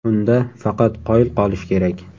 Unda faqat qoyil qolish kerak.